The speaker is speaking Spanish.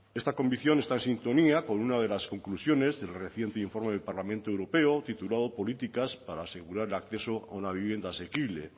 esta convicción está en sintonía con una de las conclusiones del reciente informe del parlamento europeo titulado políticas para asegurar el acceso a una vivienda asequible